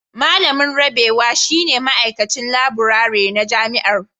Malamin Rabewa shine Ma'aikacin Laburare na Jami'ar